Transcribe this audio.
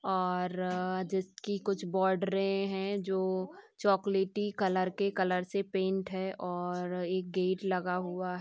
और जिसकी कुछ बोर्डरे हैं जो चॉकलेटी कलर के कलर से पेंट हैं और एक गेट लगा हुआ--